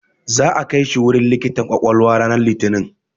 Za'a kai shi wurin likitan ƙwaƙwalwa ranar Litinin.